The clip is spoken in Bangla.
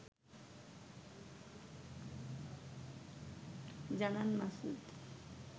জানান মাসুদ